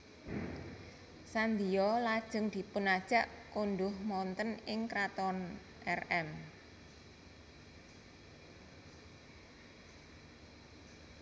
Sandiyo lajeng dipunajak konduh wonten ing kraton Rm